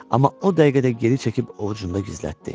Amma o dəqiqədə geri çəkib ovucunda gizlətdi.